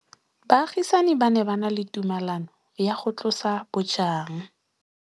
Baagisani ba ne ba na le tumalanô ya go tlosa bojang.